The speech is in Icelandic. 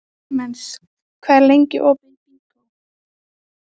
Klemens, hvað er lengi opið í Byko?